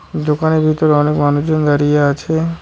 দোকানের ভিতর অনেক মানুষজন দাঁড়িয়ে আছে।